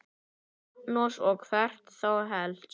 Magnús: Og hvert þá helst?